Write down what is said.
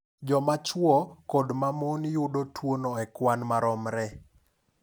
Joma chwo kod ma mon yudo tuwono e kwan maromre.